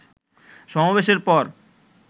সমাবেশের পর